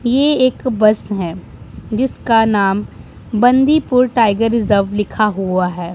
ये एक बस है जिसका नाम बांदीपुर टाइगर रिजर्व लिखा हुआ है।